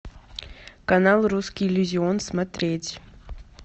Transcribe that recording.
канал русский иллюзион смотреть